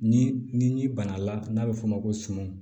Ni ni bana la n'a bɛ f'o ma ko sumun